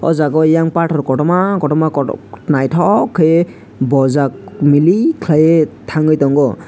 o jaga o yang pathor kotorma kotorma kotor naithok khaiui bojak milik khalui thangui tongo.